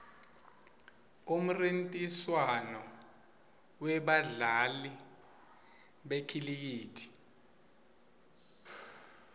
umnrintiswano webadla li bekhilikithi